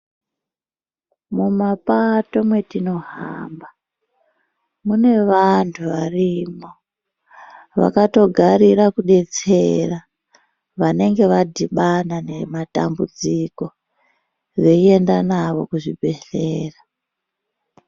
Mumapato matinogara mune Vantu varimo Vakatogara kudetsera vanenge vadhibana nematambudziko veienda nayo kuzvibhedhlera.